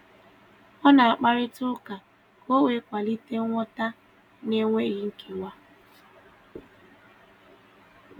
Ọ na-akparịta ụka ka o wee kwalite nghọta na - enweghị nkewa